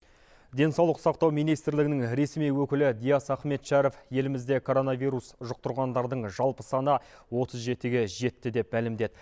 денсаулық сақтау министрлігінің ресми өкілі диас ахметшәріп елімізде коронавирус жұқтырғандардың жалпы саны отыз жетіге жетті деп мәлімдеді